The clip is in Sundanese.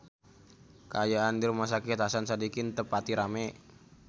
Kaayaan di Rumah Sakit Hasan Sadikin teu pati rame